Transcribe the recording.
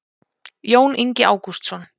jón ingi ágústsson